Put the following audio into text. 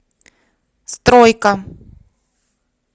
стройка